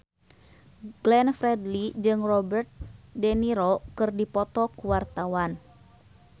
Glenn Fredly jeung Robert de Niro keur dipoto ku wartawan